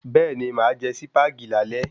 Bẹ́ẹ̀ni, máà jé Sípàgì lálé